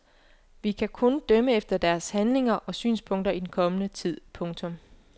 Vi kan kun dømme efter deres handlinger og synspunkter i den kommende tid. punktum